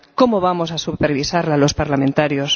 ¿Cómo vamos a supervisarla los parlamentarios?